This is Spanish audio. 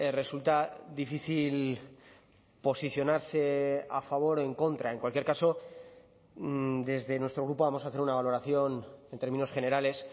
resulta difícil posicionarse a favor o en contra en cualquier caso desde nuestro grupo vamos a hacer una valoración en términos generales